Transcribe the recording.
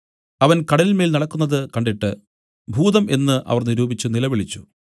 അവൻ കടലിന്മേൽ നടക്കുന്നത് കണ്ടിട്ട് ഭൂതം എന്നു അവർ നിരൂപിച്ചു നിലവിളിച്ചു